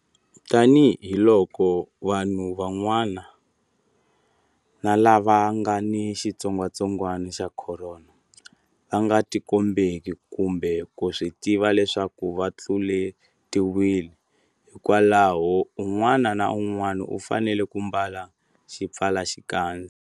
Tanihiloko vanhu van'wana lava nga ni xitsongwatsongwana xa Khorona va nga tikombeki kumbe ku swi tiva leswaku va tluletiwile, hikwalaho un'wana na un'wana u fanele ku ambala xipfalaxikandza.